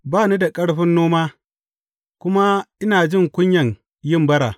Ba ni da ƙarfin noma, kuma ina jin kunyan yin bara.